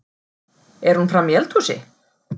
Er hún frammi í eldhúsi?